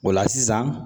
O la sisan